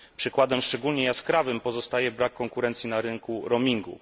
Przykładem szczególnie jaskrawym pozostaje brak konkurencji na rynku roamingu.